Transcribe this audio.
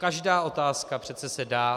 Každá otázka se přece dá -